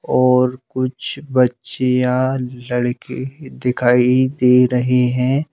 और कुछ बच्चियां लड़के दिखाई दे रहे हैं।